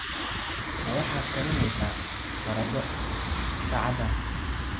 Ma waxaad karinaysaa baradho saacadan?